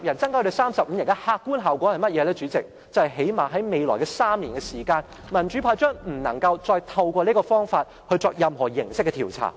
主席，就是最低限度在未來3年，民主派將不能再透過這個方法作任何形式的調查。